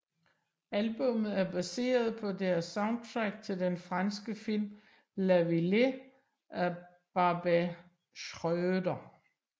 Albummet er baseret på deres soundtrack til den franske film La Vallée af Barbet Schroeder